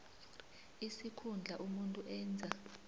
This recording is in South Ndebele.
isikhundla umuntu enza